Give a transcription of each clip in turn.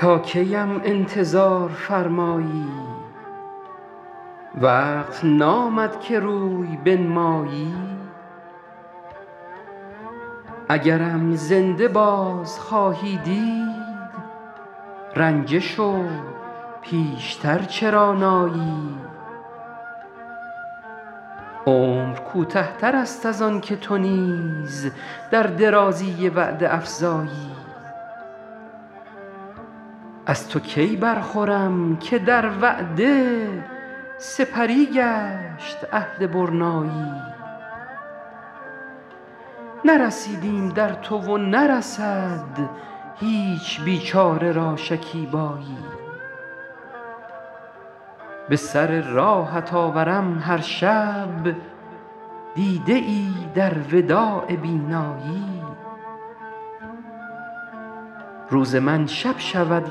تا کی ام انتظار فرمایی وقت نامد که روی بنمایی اگرم زنده باز خواهی دید رنجه شو پیش تر چرا نایی عمر کوته تر است از آن که تو نیز در درازی وعده افزایی از تو کی برخورم که در وعده سپری گشت عهد برنایی نرسیدیم در تو و نرسد هیچ بیچاره را شکیبایی به سر راهت آورم هر شب دیده ای در وداع بینایی روز من شب شود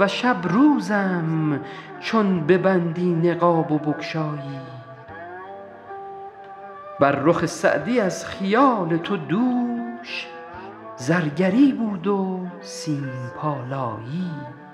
و شب روزم چون ببندی نقاب و بگشایی بر رخ سعدی از خیال تو دوش زرگری بود و سیم پالایی